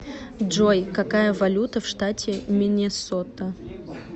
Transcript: джой какая валюта в штате миннесота